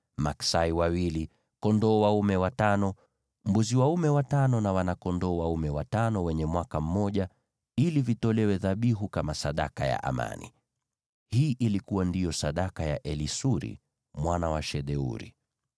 maksai wawili, kondoo dume watano, mbuzi dume watano na wana-kondoo dume watano wa mwaka mmoja, ili vitolewe dhabihu kama sadaka ya amani. Hii ndiyo ilikuwa sadaka ya Elisuri mwana wa Shedeuri.